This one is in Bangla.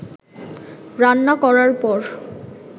রান্না করার পর